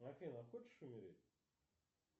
афина хочешь умереть